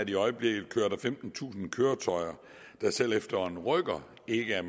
i øjeblikket kører femtentusind køretøjer der selv efter en rykker ikke er